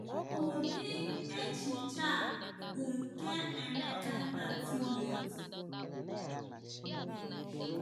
Ụdị echiche a bụ nke Emeka na Timoti.